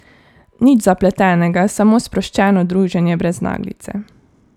Nič zapletenega, samo sproščeno druženje brez naglice.